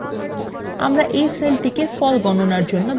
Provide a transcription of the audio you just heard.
আমাদের we সেলটিকে ফল গণনার জন্য ব্যবহার করব